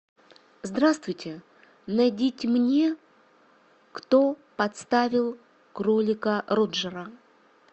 здравствуйте найдите мне кто подставил кролика роджера